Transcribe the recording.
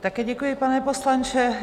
Také děkuji, pane poslanče.